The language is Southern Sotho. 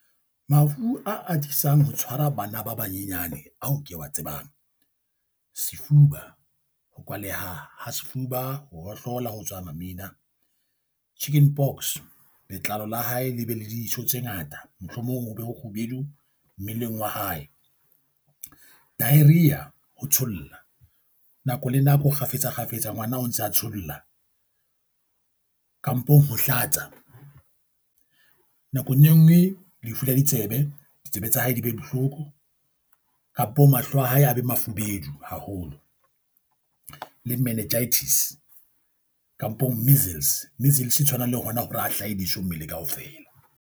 Mafu a atisang ho tshwara bana ba banyenyane ao ke wa tsebang, sefuba. Ho kwaleha ha sefuba, ho hohlola ho tswa mamina. Chicken pox. Letlalo la hae le be le diso tse ngata, mohlomong ho be ho kgubedu mmeleng wa hae. Diarrhea, ho thola nako le nako kgafetsa kgafetsa ngwana o ntse a tsholla kampong ho hlatsa. Nakong e nngwe lefu la ditsebe. Ditsebe tsa hae di be bohloko kampo mahlo a hae a be mafubedu haholo. Le meningitis kampong measles. Measles e tshwana le hona hore a hlahe diso mmele kaofela.